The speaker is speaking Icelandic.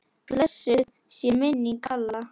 Blessuð sé minning Halla.